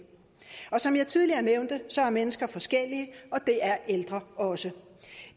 som jeg tidligere nævnte er mennesker forskellige og det er ældre også